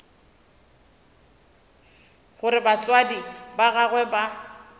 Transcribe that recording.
gore batswadi ba gagwe ba